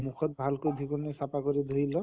মুখত ভাল কৈ ধুই কিনে চাফা কৰি ধুই লৈ